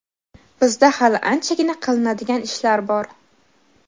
Bizda hali anchagina qilinadigan ishlar bor.